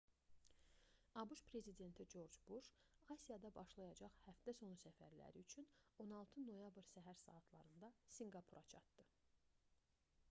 abş prezidenti corc buş asiyada başlayacaq həftə-boyu səfərləri üçün 16 noyabr səhər saatlarında sinqapura çatdı